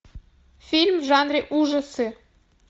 фильм в жанре ужасы